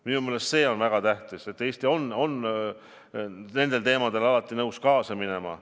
Minu meelest see on väga tähtis, et Eesti on kõiges selles alati nõus kaasa minema.